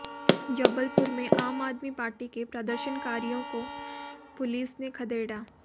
जबलपुर में आम आदमी पार्टी के प्रदर्शनकारियों को पुलिस ने खदेड़ा